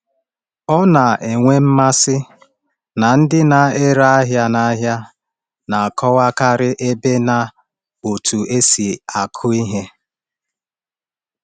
Ọ na-enwe mmasị na ndị na-ere ahịa n’ahịa na-akọwakarị ebe na otú e si akụ ihe.